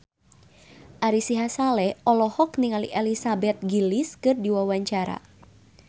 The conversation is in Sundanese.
Ari Sihasale olohok ningali Elizabeth Gillies keur diwawancara